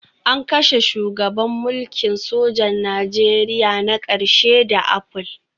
An kashe shugaban mulkin sojan Najeriya na ƙarshe da apple